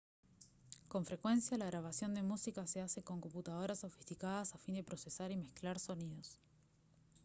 con frecuencia la grabación de música se hace con computadoras sofisticadas a fin de procesar y mezclar sonidos